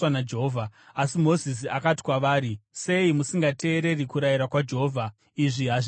Asi Mozisi akati kwavari, “Sei musingateereri kurayira kwaJehovha? Izvi hazvibudiriri!